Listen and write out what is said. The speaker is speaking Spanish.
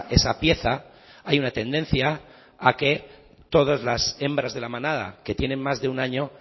esa pieza hay una tendencia a que todas las hembras de la manada que tienen más de un año